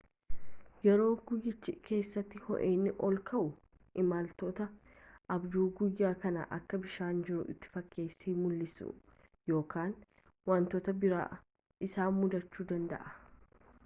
yeroo guyyicha keessatti ho’inni ol ka’u imaltootni abjuu guyyaa kan akka bishaan jiru itti fakkeesse mul’isu yookiin wantoota biraa isaan mudachuu danda’a